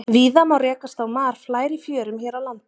víða má rekast á marflær í fjörum hér á landi